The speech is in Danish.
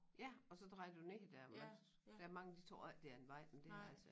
Ja og så drejer du ned dér hvor der mange de tror ikke det er en vej men det er altså